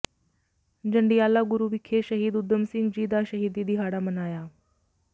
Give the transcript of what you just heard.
ਜੰਡਿਆਲਾ ਗੁਰੂ ਵਿਖੇ ਸ਼ਹੀਦ ਊਧਮ ਸਿੰਘ ਜੀ ਦਾ ਸ਼ਹੀਦੀ ਦਿਹਾੜਾ ਮਨਾਇਆ